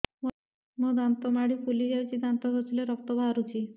ମୋ ଦାନ୍ତ ମାଢି ଫୁଲି ଯାଉଛି ଦାନ୍ତ ଘଷିଲେ ରକ୍ତ ବାହାରୁଛି